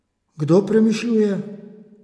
Kdo premišljuje?